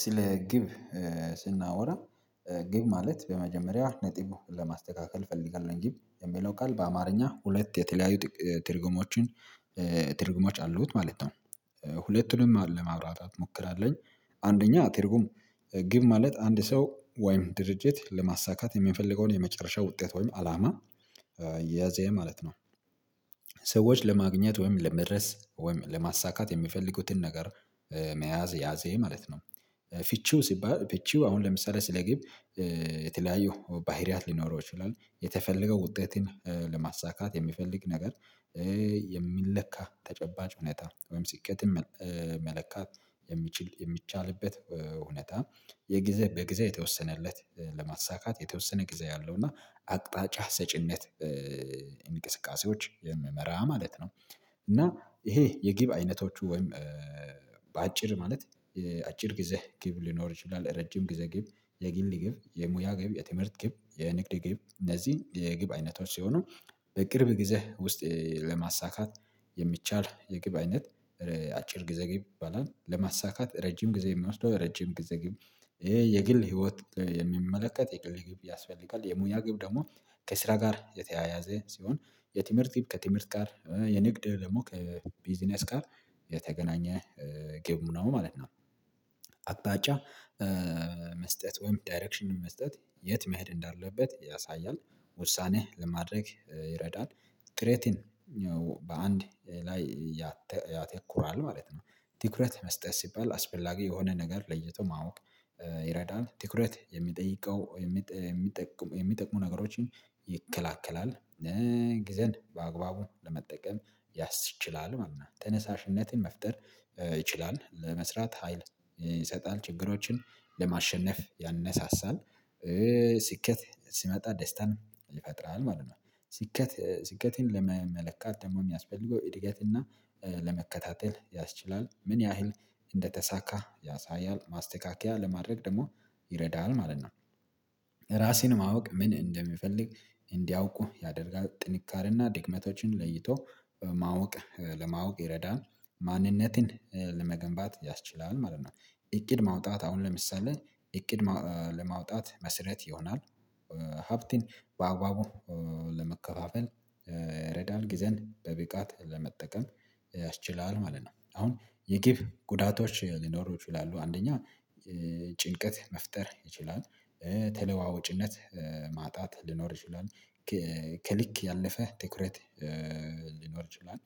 ስለ ግብ ስናወራ ግብ ማለት በመጀመሪያ ነጥቡን ለማስተካከል እፈልጋለሁ ግን የሚለው ቃል በአማርኛ ሁለት የተለያዩ ትርጉሞችን ትርጉሞች አሉት ማለት ነው። ሁለቱንም ለማውራት አትሞክራለኝ አንደኛ አትርጉም ግብ ማለት አንድ ሰው ወይም ድርጅት ለማሳካት የሚፈልገውን የመጨረሻ ውጤት ወይም አላማ የያዘ ማለት ነው። ለማግኘት ወይም ለመድረስ ወይም ለማሳካት የሚፈልጉትን ነገር መያዝ ያዜ ማለት ነው። ፍቺው ሲባል ፍቺው አሁን ለምሳሌ ስለ ግብ የተለያዩ ባህሪያት ሊኖረው ይችላል የተፈለገው ውጤትን ለማሳካት የሚፈልግ ነገር የሚለካ ተጨባጭ ሁኔታ ወይም ስኬትን መለካት የሚችል የሚቻልበት ሁኔታ የጊዜ በጊዜ የተወሰነለት ለማሳካት የተወሰነ ጊዜ አለው እና አቅጣጫ ሰጪነት። እንቅስቃሴዎች ማለት ነው። እና ይሄ የግብ አይነቶቹ ወይም በአጭር ማለት አጭር ጊዜ ግብ ሊኖር ይችላል። ረጅም ግዘ ግብ የግል ግብ የሙያ ግብ የትምህርት ግብ የንግድ ግብ እነዚህን የግብ አይነቶች ሲሆኑ በቅርብ ጊዜ ውስጥ ለማሳካት የሚቻል የግብ አይነት አጭር ግዘግብ ይባላል። ለማሳካት ረጅም ጊዜ የሚወስደው ረጅም ጊዜ ግብ ይሄ የግል ህይወት የሚመለከት የግል ግብ ያስፈልጋል። የሙያ ግብ ደግሞ ከስራ ጋር የተያያዘ ሲሆን የትምህርት ግብ ከትምህርት ጋር የንግድ ደግሞ ከቢዚነስ ጋር የተገናኘ ግብ ምናምን ማለት ነው። አቅጣጫ መስጠት ወይም ዳይሬክሽን መስጠት የት መሄድ እንዳለበት ያሳያል ውሳኔህ ለማድረግ ይረዳል። ቅሬትን በአንድ ላይ ያተኩራል ማለት ነው። ትኩረት መስጠት ሲባል አስፈላጊ የሆነ ነገር ለይቶ ማወቅ ይረዳል ትኩረት የሚጠይቀው የሚጠቅሙ የሚጠቅሙ ነገሮችን ይከላከላል። ጊዜን በአግባቡ ለመጠቀም ያስችላል ማለት ነው። ተነሳሽነትን መፍጠር ይችላል ለመስራት ሀይል ይሰጣል ችግሮችን ለማሸነፍ ያነሳሳል። ስኬት ሲመጣ ደስታን ይፈጥራል ማለት ነው። ስኬት ስኬቴን ለመመለከት ደግሞ የሚያስፈልገው እድገት እና ለመከታተል ያስችላል ምን ያህል እንደተሳካ ያሳያል ማስተካከያ ለማድረግ ደግሞ ይረዳል ማለት ነው። ራሴን ማወቅ ምን እንደሚፈልግ እንዲያውቁ ያደርጋል ጥንካሬና ድክመቶችን ለይቶ ማወቅ ለማወቅ ይረዳል ማንነትን ለመገንባት ያስችላል ማለት ነው። እቅድ ማውጣት አሁን ለምሳሌ እቅድ ለማውጣት መስረት ይሆናል። ሀብትን በአግባቡ ለመከፋፈል ይረዳል ጊዜን በብቃት ለመጠቀም ያስችላል ማለት ነው። አሁን የግብ ጉዳቶች ሊኖሩ ይችላሉ አንደኛ ጭንቀት መፍጠር ይችላል። ተለዋወጭነት ማጣት ሊኖር ይችላል። ከልክ ያለፈ ትኩረት ሊኖር ይችላል።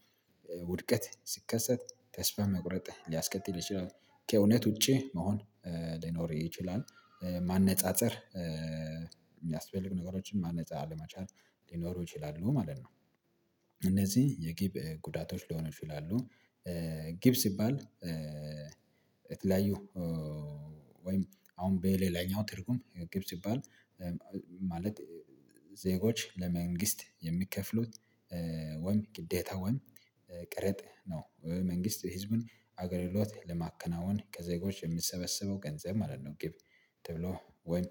ውድቀት ሲከሰት ተስፋ መቁረጥ ሊያስከትል ይችላል። ከእውነት ውጪ መሆን ሊኖር ይችላል። ማነጻጸር የሚያስፈልጉ ነገሮችን ማነጻ ለመቻል ሊኖሩ ይችላሉ ማለት ነው። እነዚህ የጊብ ጉዳቶች ለሆነች ይላሉ። ግብ ሲባል የተለያዩ ወይም አሁን በሌላኛው ትርጉም ግብ ሲባል ማለት ዜጎች ለመንግስት የሚከፍሉት ወይም ግዴታ ወይም ቀረጥ ነው። መንግስት ህዝቡን አገልግሎት ለማከናወን ከዘጎች የምሰበሰበው ገንዘብ ማለት ነው። ግብ ተብሎ ወይ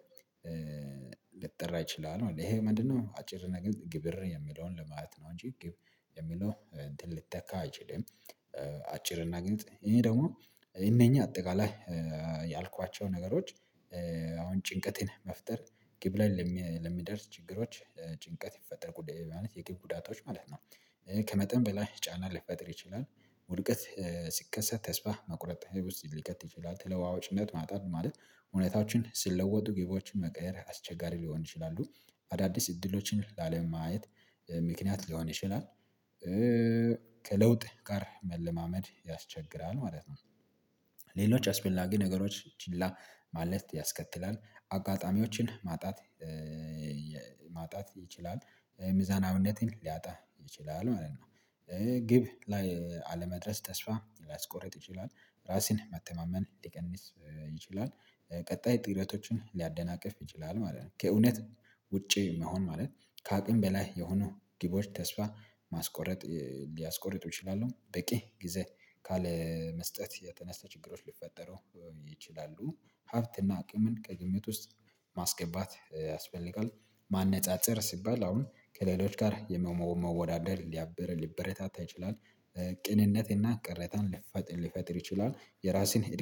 ልጠራ ይችላል ይሄ ምንድነው? አጭር ግልጽ ግብር የሚለውን ለማለት ነው። እንጂ ግብ የሚለው እንትን ልተካ አይችልም። አጭርና ግልጽ ይሄ ደግሞ እነኚህ አጠቃላይ ያልኳቸው ነገሮች አሁን ጭንቀቴን መፍጠር ግብ ላይ ለሚደርስ ችግሮች ጭንቀት ይፈጠር ጉዳት ማለት የግብ ጉዳቶች ማለት ነው። ከመጠን በላይ ጫና ልፈጥር ይችላል። ውድቀት ስከሰት ተስፋ መቁረጥ ውስጥ ሊከት ይችላል። ትለዋዋጭነት ማጣት ማለት እውነታዎችን ስለወጡ ግቦችን መቀየር አስቸጋሪ ሊሆን ይችላሉ አዳዲስ እድሎችን ላለማየት ምክንያት ሊሆን ይችላል። ከለውጥ ጋር መለማመድ ያስቸግራል ማለት ነው። ሌሎች አስፈላጊ ነገሮች ችላ ማለት ያስከትላል። አጋጣሚዎችን ማጣት ማጣት ይችላል። ምዛናዊነትን ሊያጣ ይችላል ማለት ነው። ግብ ላይ አለመድረስ ተስፋ ሊያስቆርጥ ይችላል። ራስን መተማመን ሊቀንስ ይችላል ቀጣይ ጥረቶችን ሊያደናቅፍ ይችላል ማለት ነው። ከእውነት ውጪ መሆን ማለት ከአቅም በላይ የሆኑ ግቦች ተስፋ ማስቆረጥ ሊያስቆርጥ ይችላሉ። በቂ ጊዜ ካለመስጠት የተነሳ ችግሮች ሊፈጠሩ ይችላሉ። ሀብትና አቅምን ከግምት ውስጥ ማስገባት ያስፈልጋል። ማነፃፀር ሲባል አሁን ከሌሎች ጋር የመመ መወዳደር ሊበረታታ ይችላል። ቅንነትና ቅረታን ሊፈጥር ሊፈጥር ይችላል የራስህን